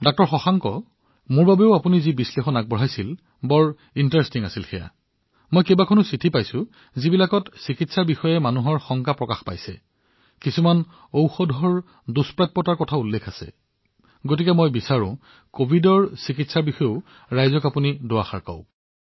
ডাঃ শশাংক আপুনি উল্লেখ কৰা বিশ্লেষণ মোৰ বাবেও আকৰ্ষণীয় মই বহুতো চিঠি পাইছো যত চিকিৎসাৰ বিষয়ে মানুহৰ বহুতো আশংকা আছে কিছুমান ঔষধৰ যথেষ্ট চাহিদা বাঢ়িছে সেয়েহে মই বিচাৰো যে আপুনি জনসাধাৰণক কভিডৰ চিকিৎসাৰ বিষয়ে কওক